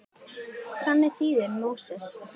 Þannig þýðir Móses fæddur.